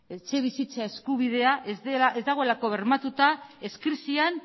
etxebizitza eskubidea ez dagoelako bermatua ez krisian